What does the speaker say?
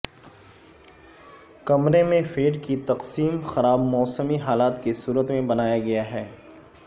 کمرے میں فیڈ کی تقسیم خراب موسمی حالات کی صورت میں بنایا گیا ہے